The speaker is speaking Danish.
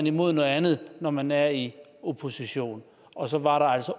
imod noget andet når man er i opposition og så var der altså